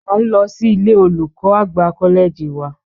À ń lọ si ilé olùkọ́ àgbà kọ́lẹ́ẹ̀jì wa